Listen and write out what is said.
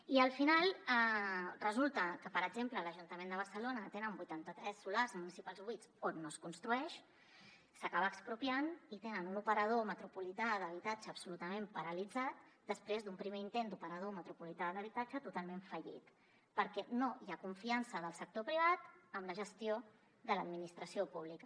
i al final resulta que per exemple l’ajuntament de barcelona té vuitanta tres solars municipals buits on no es construeix s’acaba expropiant i té un operador metropolità d’habitatge absolutament paralitzat després d’un primer intent d’operador metropolità d’habitatge totalment fallit perquè no hi ha confiança del sector privat en la gestió de l’administració pública